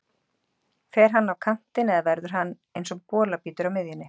Fer hann á kantinn eða verður hann eins og bolabítur á miðjunni?